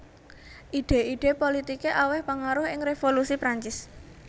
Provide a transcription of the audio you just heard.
Idhé idhé politiké awèh pangaruh ing Revolusi Prancis